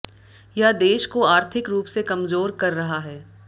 यह देश को आर्थिक रूप से कमजोर कर रहा है